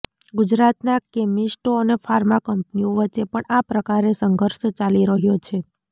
ગુજરાતના કેમિસ્ટો અને ફાર્મા કંપનીઓ વચ્ચે પણ આ પ્રકારે સંઘર્ષ ચાલી રહ્યો છે